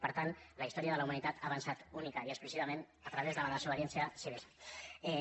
per tant la història de la humanitat ha avançat únicament i exclusivament a través de la desobediència civil